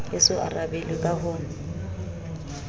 e so arabelwe ka ho